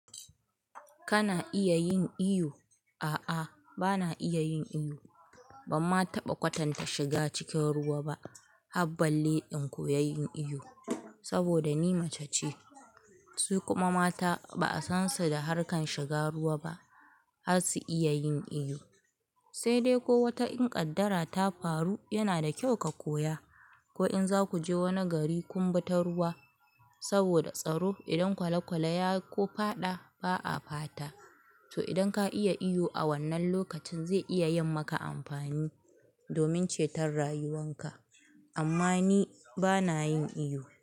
Kana iya yin iyo? A'a, bana iya yin iwu. Ban ma taɓa kwatanta shiga cikin ruwa ba. Habbar balle in koyi iyo, saboda ni mace ce, su kuma mata ba'a san su da harkar shiga ruwa ba, har su iya yin iyo. Sai dai ko wata in kaddara ta faru, yana da kyau ka koya. Ko in za ku je wani gari kun bi ta ruwa saboda tsaro. Idan kwale-kwale ya ko fada, ba a fata. To, idan ka iya iyo a wannan lokacin zai iya yin maka amfani domin ceton rayuwarka. Amma ni bana yin iyo.